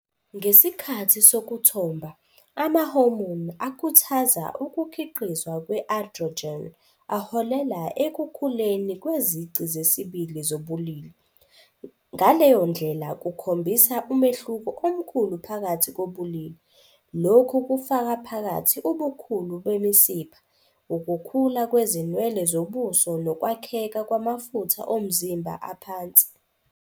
Ngesikhathi sokuthomba, ama-hormone akhuthaza ukukhiqizwa kwe-androgen aholela ekukhuleni kwezici zesibili zobulili, ngaleyo ndlela kukhombisa umehluko omkhulu phakathi kobulili. Lokhu kufaka phakathi ubukhulu bemisipha, ukukhula kwezinwele zobuso nokwakheka kwamafutha omzimba aphansi.